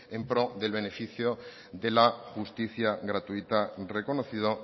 en pro del beneficio de la justicia gratuita reconocido